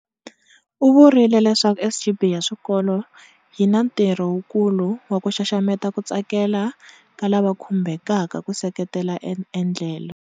U vurile leswaku SGB ya swikolo yi na ntirho wukulu wa ku xaxameta ku tsakela ka lava khumbhekaka ku seketela endlelo.